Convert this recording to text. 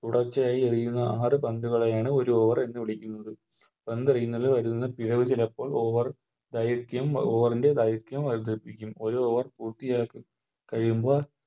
തുടർച്ചയായി എറിയുന്ന ആറ് പന്തുകളെയാണ് ഒര് Over എന്ന് വിളിക്കുന്നത് പന്തെറിയുന്നതിൽ വരുന്ന പിഴവ് ചിലപ്പോൾ Over കളിക്കും Over ൻറെ കളിക്കും ഒര് Over പൂർത്തിയാക്കി കഴിയുമ്പോൾ